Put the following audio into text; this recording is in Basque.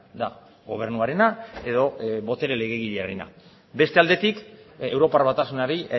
da gobernuarena edo botere legegilearena beste aldetik europar batasunari